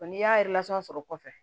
n'i y'a sɔrɔ kɔfɛ